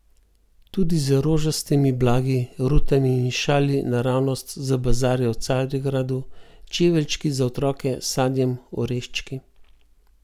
Tudi z rožastimi blagi, rutami in šali naravnost z bazarja v Carigradu, čeveljčki za otroke, sadjem, oreščki.